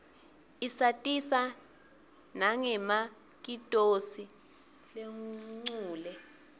isatisa nanqemakitosi lenqule